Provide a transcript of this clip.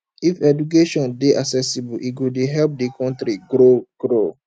if education dey accessible e go dey help di country grow grow